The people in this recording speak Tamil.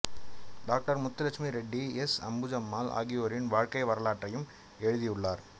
டாக்டர் முத்துலட்சுமி ரெட்டி எஸ் அம்புஜம்மாள் ஆகியோரின் வாழ்க்கை வரலாற்றையும் எழுதியுள்ளார்